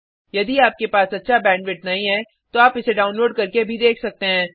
यदि आपके पास अच्छा बैंडविड्थ नहीं है तो आप इसे डाउनलोड करके देख सकते हैं